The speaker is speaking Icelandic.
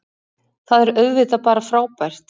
Það er auðvitað bara frábært